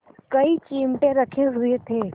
कई चिमटे रखे हुए थे